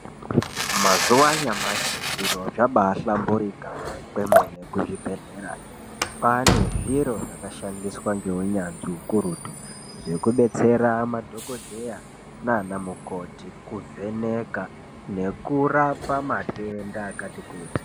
Mazuva anyamashi zviro zvabahlamburika kwemene kuzvibhedhlerayo kwaane zviro zvakanasirwa ngeunyanzvi hukurutu zvekubetsera madhokodheya nanamukoti kuvheneka nekurapa matenda akati kuti .